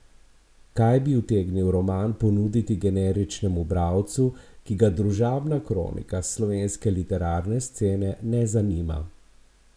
Kaj bi utegnil roman ponuditi generičnemu bralcu, ki ga družabna kronika s slovenske literarne scene ne zanima?